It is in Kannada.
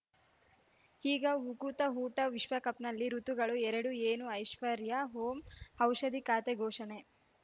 ಈಗ ಉಕುತ ಊಟ ವಿಶ್ವಕಪ್‌ನಲ್ಲಿ ಋತುಗಳು ಎರಡು ಏನು ಐಶ್ವರ್ಯಾ ಓಂ ಔಷಧಿ ಖಾತೆ ಘೋಷಣೆ